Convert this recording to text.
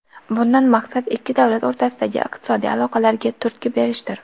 Bundan maqsad ikki davlat o‘rtasidagi iqtisodiy aloqalarga turtki berishdir.